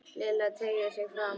Lilla teygði sig fram.